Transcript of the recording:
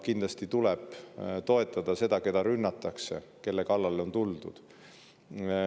Kindlasti tuleb toetada seda, keda rünnatakse, kelle kallale on mindud.